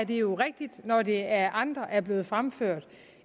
jo rigtigt når det af andre er blevet fremført